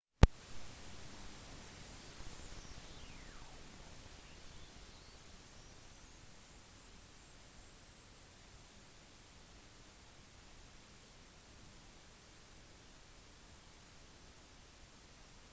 mange av deres forfattere har fortsatt å ha stor innflytelse på nyhetsparodi-programmene til jon stewart og stephen colberts